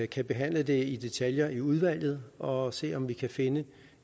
kan behandle det i detaljer i udvalget og se om vi kan finde